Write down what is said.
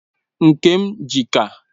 Nke m ji ka